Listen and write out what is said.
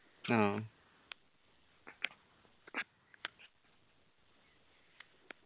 ആ